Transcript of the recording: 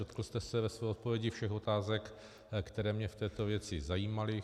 Dotkl jste se ve své odpovědi všech otázek, které mě v této věci zajímaly.